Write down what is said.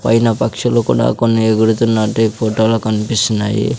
పైన పక్షులు కూడా కొన్ని ఎగురుతున్నట్టు ఈ ఫోటో లో కన్పిస్తున్నాయి.